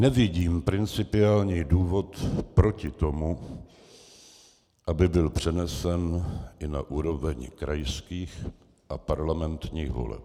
Nevidím principiální důvod proti tomu, aby byl přenesen i na úroveň krajských a parlamentních voleb.